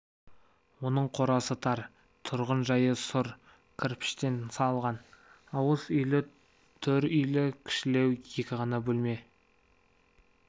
оның қорасы тар тұрғын-жайы сұр кірпіштен салған ауыз үйлі төр үйлі кішілеу екі ғана бөлме